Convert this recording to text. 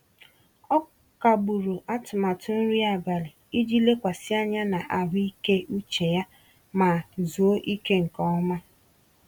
Ọ kagburu atụmatụ nri abalị iji lekwasị anya na ahụike uche ya ma zuoo ike nke ọma.